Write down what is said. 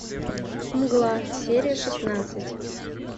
мгла серия шестнадцать